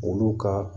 Olu ka